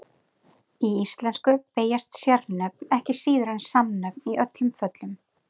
Í íslensku beygjast sérnöfn ekki síður en samnöfn í öllum föllum.